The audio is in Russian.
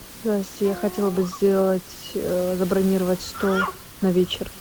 здрасте я хотела бы сделать забронировать стол на вечер